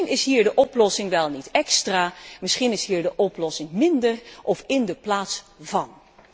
Misschien is hier de oplossing niet extra, misschien is de oplossing hier juist minder of in de plaats van.